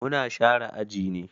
Mu na share aji ne.